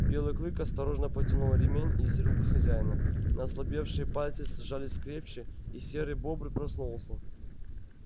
белый клык осторожно потянул ремень из рук хозяина но ослабевшие пальцы сжались крепче и серый бобр проснулся